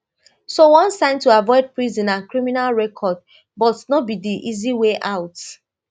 sone sign to avoid prison and criminal record but no be di easy way out